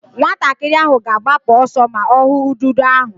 Nwatakịrị ahụ ga-agbapụ ọsọ ma ọ hụ ududo ahụ.